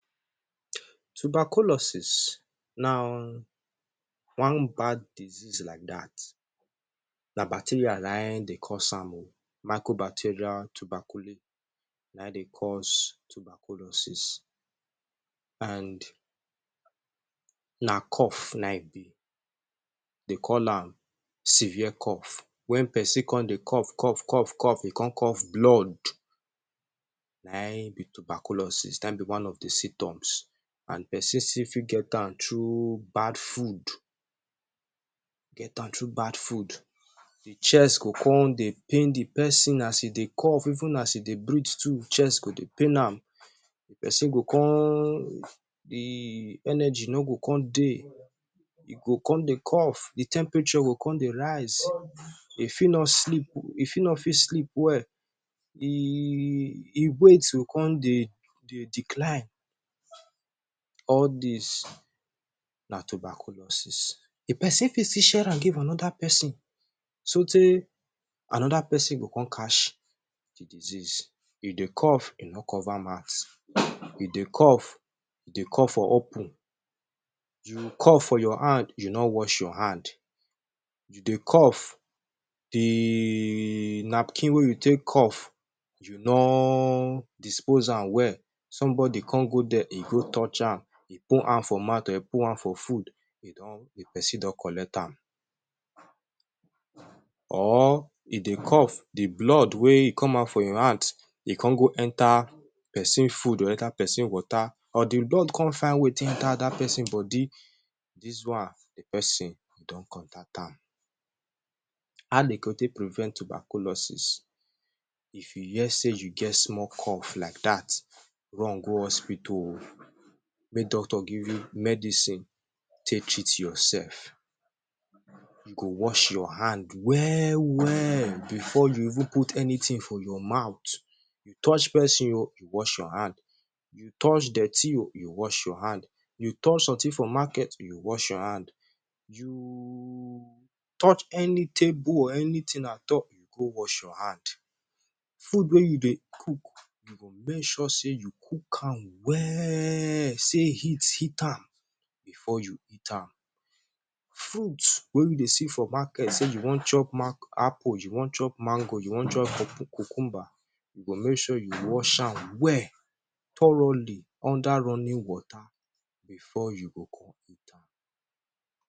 Tuberculosis na one bad disease like dat. Na bacteria na ein dey cause am oh. Microbateria na ein dey cause tuberculosis, an na cough na ein e be. De call am severe cough. Wen peson con dey cough cough cough cough e con cough blood, na ein be tuberculosis, na ein be one of the symptoms. An peson still fit get am through bad food, get am through bad food. The chest go con dey pain the peson as e dey cough. Even as e dey breathe too, chest go dey pain am. The peson go con the energy no go con dey. E go con dey cough, the temperature go con dey rise. E fit no sleep, e fit no fit sleep well. E e weight go con dey dey decline. All dis na tuberculosis. The peson fit still share am give another peson sotey another peson go con catch the disease. You dey cough, e no cover mouth; e dey cough, e dey cough for open; you cough for your hand, you no wash your hand; you dey cough, the napkin wey you take cough you no dispose am well, somebody con go there, e go touch am, e put am for mouth or e put am for food, e don the peson don collect am. Or e dey cough the blood wey e come out for your hand, e con go enter peson food or enter peson water or the blood con find way take enter dat peson body, dis one, the peson go don contact am. How de go take prevent tuberculosis? If you hear sey you get small cough like dat, run go hospital oh make doctor give you medicine take treat yoursef. You go wash your hand well-well before you even put anything for your mouth. You touch peson oh, you wash your hand. You touch dirty oh, you wash your hand. You touch something for market, you wash your hand. You touch any table or anything at all, you go wash your hand. Food wey you dey cook, you go make sure sey you cook am well sey heat hit am before you eat am. Fruit wey you dey see for market sey you wan chop apple, you wan chop mango, you wan chop cucumber, you go make sure you wash am well thoroughly under running water before you go con eat am.